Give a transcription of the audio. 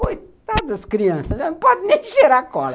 Coitadas das crianças, não podem nem cheirar cola.